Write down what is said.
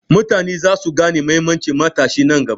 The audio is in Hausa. Mutane za su gane mahimmancin matashi nan gaba.